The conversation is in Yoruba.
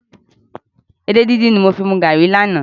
Edé díndín ni mo fi mu garri lánàá.